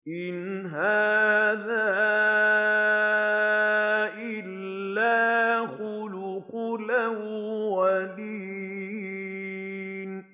إِنْ هَٰذَا إِلَّا خُلُقُ الْأَوَّلِينَ